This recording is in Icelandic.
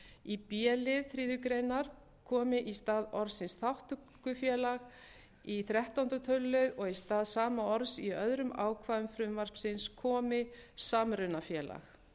breytt því nú segir hún b í stað orðsins þátttökufélag í þrettánda tölulið og í stað sama orðs í öðrum ákvæðum frumvarpsins komi samrunafélag